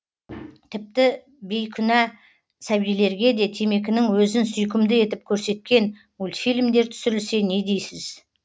тіпті бейкүнә сәбилерге де темекінің өзін сүйкімді етіп көрсеткен мультфильмдер түсірілсе не дейсіз